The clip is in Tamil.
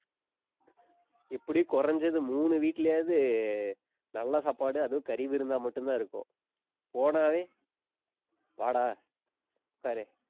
இப்படி குறைஞ்சது மூணு வீட்டுலயாவது நல்ல சாப்பாடு அதுவும் கறி விருந்தா மட்டும்தான் இருக்கும். போனாவே வாடா உட்காரு